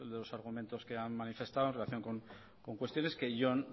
los argumentos que han manifestado en relación con cuestiones que yo